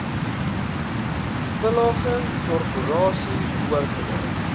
village korporasie oorgedra